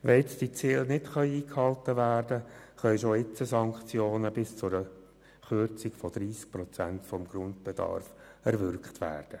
Wenn die Ziele nicht eingehalten werden, können schon jetzt Sanktionen bis zu einer Kürzung von 30 Prozent des Grundbedarfs erwirkt werden.